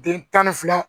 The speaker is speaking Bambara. Den tan ni fila